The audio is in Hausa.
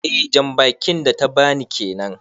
Eh jan bakin da ta ba ni kenan.